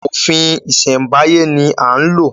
Òfin ìsèmbáyé ni a ń lò